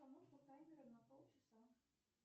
установка таймера на полчаса